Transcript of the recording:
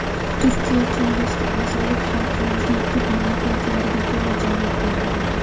Turkiy Kengashga a’zolik xalqimizning tub manfaatlariga to‘la javob beradi.